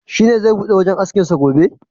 Shi ne zai bude wajen askin sa gobe?